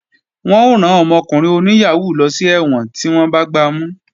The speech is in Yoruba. Wọ́n ó rán ọmọkùnrin oníyàhóó lọ sí ẹ̀wọ̀n tí wọ́n bá gbamú